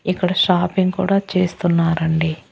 ఇక్కడ షాపింగ్ కూడా చేస్తున్నారండి.